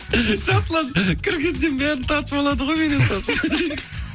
жасұлан кіргеннен бәрін тартып алады ғой менен сосын